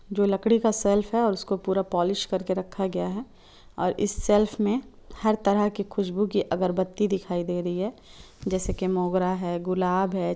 जो लकड़ी का सेल्फ है और उसको पूरा पोलीश करके रखा गया है और इस सेल्फ मे हर तरह की खुशबु की अगरबत्ती दिखाई दे रही है जैसे की मोगरा है गुलाब है।